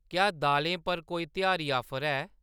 क्या दालें पर कोई त्यहारी ऑफर ऐ ?